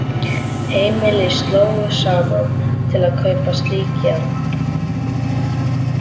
Heimili slógu saman til að kaupa slík járn.